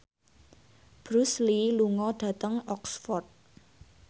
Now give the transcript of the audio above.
Bruce Lee lunga dhateng Oxford